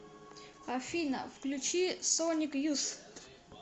афина включи соник юс